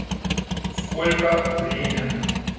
сколько время